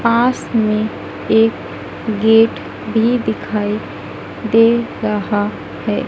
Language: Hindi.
पास में एक गेट भी दिखाई एक दे रहा है।